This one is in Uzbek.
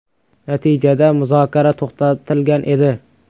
Natijada muzokara to‘xtatilgan edi.